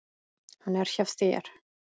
Hann er hjá þér.